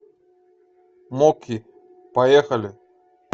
моки поехали